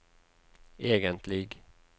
egentlig